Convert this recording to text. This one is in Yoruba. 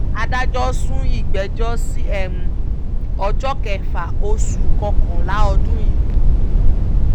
adájọ́ sún ìgbẹ́jọ́ sí ọjọ́ kẹfà oṣù kọkànlá ọdún yìí